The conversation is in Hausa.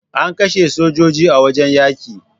Ana kashe sojoji a wajen yaƙi